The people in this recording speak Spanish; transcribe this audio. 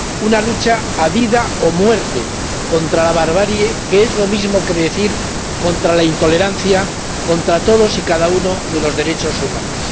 Una lucha a vida o muerte contra la barbarie, que es lo mismo que decir contra la intolerancia, contra todos y cada uno de los derechos humanos.